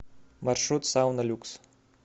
маршрут сауна люкс